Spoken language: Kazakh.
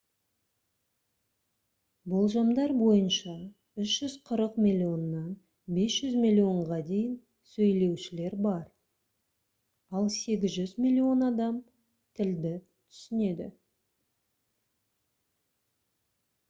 болжамдар бойынша 340 миллионнан 500 миллионға дейін сөйлеушілер бар ал 800 миллион адам тілді түсінеді